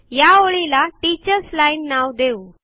या ओळीला teachers line नाव देऊ